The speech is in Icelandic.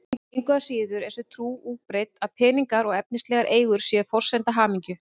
Engu að síður er sú trú útbreidd að peningar og efnislegar eigur séu forsenda hamingju.